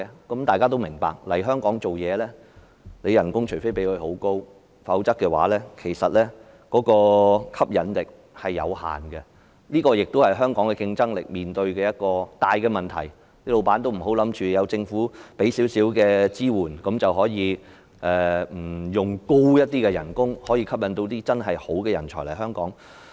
大家也明白，除非公司提供很高的薪酬，否則來港工作對專才的吸引力仍然有限，這也是香港競爭力面對的大問題，老闆不要以為政府提供少許支援，便用不着以較高的薪酬來吸引真正優秀的人才來港。